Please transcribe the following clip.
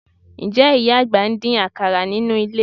Ǹjẹ́ ìyá àgbà ń dín àkàrà nínú ilé?